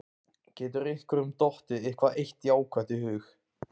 Getur einhverjum dottið eitthvað eitt jákvætt í hug?